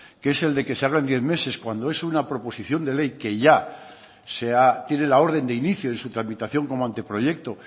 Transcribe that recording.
que es el de que se habla en diez meses cuando es una proposición de ley que ya tiene la orden de inicio en su tramitación como anteproyecto